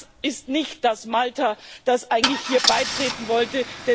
Das ist nicht das Malta, das eigentlich hier beitreten wollte.